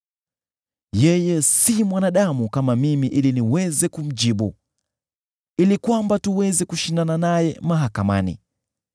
“Yeye si mwanadamu kama mimi ili niweze kumjibu, ili kwamba tuweze kushindana naye mahakamani.